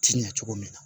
Ti ɲɛ cogo min na